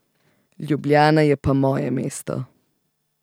Ljubljana je pa moje mesto.